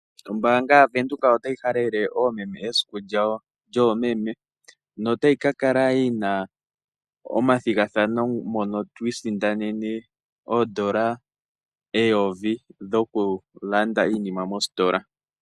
Ombaanga yaVenduka otayi halele oomeme esiku lyawo lyoomeme, notayi ka kala yi na omathigathano mono to isindanene oondola eyovi dhokulanda iinima mostola.